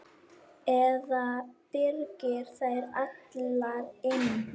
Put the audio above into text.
Eða byrgir þær allar inni.